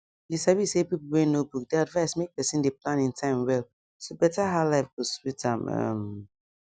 you sabi say people wey know book dey advise make person dey plan in time well to better how life go sweet am um